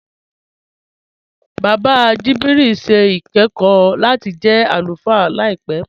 Bàbá Jibril n ṣẹ̀ ikẹ̀kọ̀ lati jẹ́ alúfáà làìpẹ.